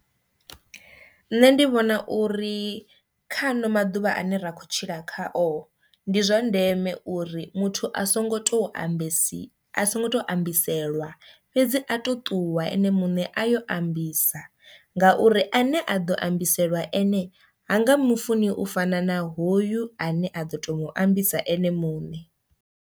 Nṋe ndi vhona uri kha ano maḓuvha ane ra khou tshila khao ndi zwa ndeme uri muthu a songo to ambesi a songo tou ambiselwa fhedzi a to ṱuwa ene muṋe a yo ambisa ngauri ane a ḓo ambiselwa ene hanga mufuni u fana na hoyu ane a do to mu ambisa ene muṋe.